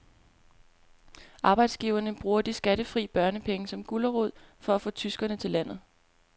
Arbejdsgiverne bruger de skattefri børnepenge som gulerod for at få tyskere til landet.